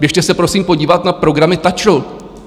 Běžte se prosím podívat na programy TAČRu!